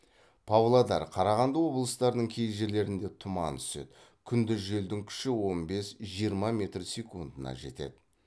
павлодар қарағанды облыстарының кей жерлерінде тұман түседі күндіз желдің күші он бес жиырма метр секундына жетеді